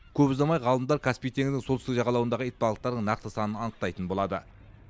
көп ұзамай ғалымдар каспий теңізінің солтүстік жағалауындағы итбалықтардың нақты санын анықтайтын болады